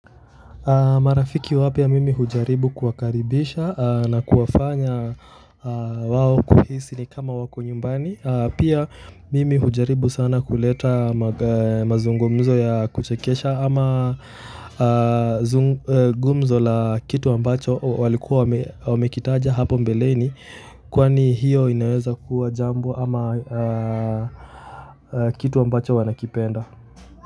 Marafiki wapya mimi hujaribu kuwakaribisha na kuwafanya wao kuhisi ni kama wako nyumbani, pia mimi hujaribu sana kuleta mazungumzo ya kuchekesha ama gumzo la kitu ambacho walikuwa wamekitaja hapo mbeleni kwani hiyo inaweza kuwa jambo ama kitu ambacho wanakipenda.